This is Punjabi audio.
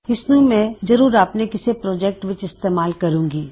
ਇਸਨੂ ਮੈਂ ਜ਼ਰੂਰ ਆਪਣੇ ਕਿਸੇ ਪ੍ਰੋਜੈਕਟ ਵਿੱਚ ਇਸਤੇਮਾਲ ਕਰੂੰਗੀ